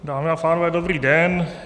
Dámy a pánové, dobrý den.